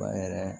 Ba yɛrɛ